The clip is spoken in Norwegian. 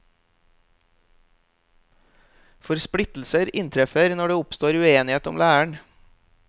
For splittelser inntreffer når det oppstår uenighet om læren.